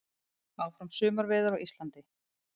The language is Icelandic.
Áfram sumarveður á Íslandi